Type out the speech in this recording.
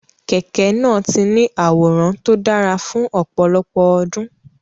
Kẹ̀kẹ́ náà ti ní àwòrán tó dára fún ọ̀pọ̀lọpọ̀ ọdún.